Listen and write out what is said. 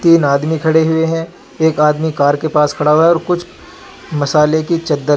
तीन आदमी खड़े हुए हैं एक आदमी कार के पास खड़ा है और कुछ मसाले की चद्दरे हैं.